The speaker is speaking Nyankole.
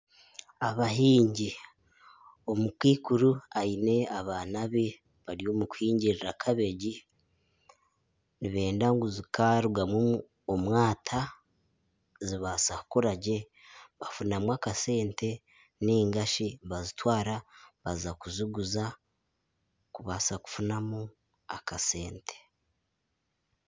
Abahingi, omukaikuru aine abaana be bari omu kuhingirira kabegi nibenda ngu zikarugamu omwata zibaasa kukura gye batungamu akasente ningashi bazitwara baza kuziguza kubaasa kwihamu akasente